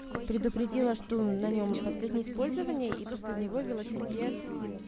предупредила что на нем последнее использование и после него велосипед